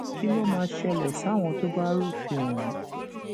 kí ló máa ṣẹlẹ sáwọn tó bá rúfin ọhún